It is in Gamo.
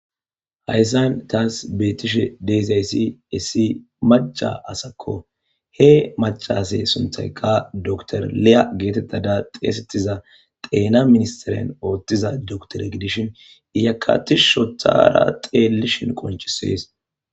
Haysan tas betishe dizaysi issi mac'a asako he mac'ase suntayka dokter Liya getetada dhesetiza dhena ministeren otiza doktere gidishin izaka tishi itara dhelishen qonc'ses.